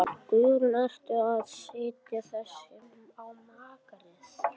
Guðrún: Ertu að setja þetta á markað?